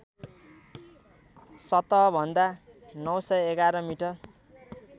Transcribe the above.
सतहभन्दा ९११ मिटर